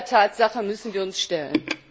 Auch dieser Tatsache müssen wir uns stellen.